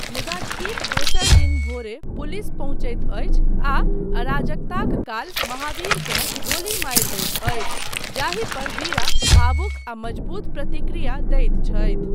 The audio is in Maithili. मुदा ठीक दोसर दिन भोरे पुलिस पहुँचैत अछि आ अराजकताक काल महाबीरकेँ गोली मारि दैत अछि, जाहि पर वीरा भावुक आ मजबूत प्रतिक्रिया दैत छथि।